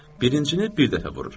Birincini bir dəfə vurur.